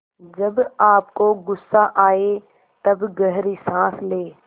जब आपको गुस्सा आए तब गहरी सांस लें